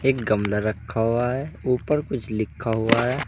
एक गमला रखा हुआ है ऊपर कुछ लिखा हुआ है।